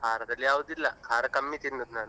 ಖಾರದಲ್ಲಿ ಯಾವ್ದು ಇಲ್ಲ ಖಾರ ಕಮ್ಮಿ ತಿನ್ನುದು ನಾನು.